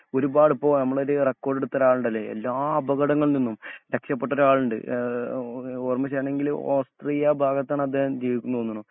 ഒരുപാടിപ്പോ നമ്മളൊരു റെക്കോർഡ്എടുത്തൊരാളുണ്ടല്ലോ? എല്ലാ അപകടങ്ങളിൽനിന്നും രെക്ഷപെട്ടോരാളുണ്ട് ആ ആ ഓ ഓർമ്മ ശരിയാണെങ്കില് ഓസ്ട്രിയ ഭാഗത്താണ് അദേഹം ജീവിക്കണ് തോന്നുന്നു.